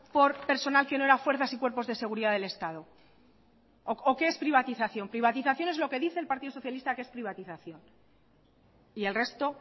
por personal que no era fuerzas y cuerpos de seguridad del estado o qué es privatización privatización es lo que dice el partido socialista que es privatización y el resto